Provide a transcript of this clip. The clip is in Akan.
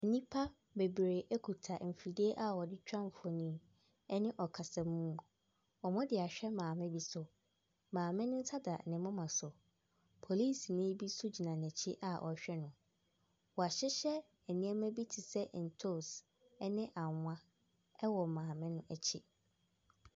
Nnipa bebree kita mfidie a wɔde twa mfoni ne ɔkasamu. Wɔde ahwɛ maame bi so. Maame no nsa da ne moma so. Polisini bi nso gyina n'akyi a ɔrehwɛ no. Wahyehyɛ nneɛma bi te sɛ ntoos ne annwa ɛwɔ maame no akyi.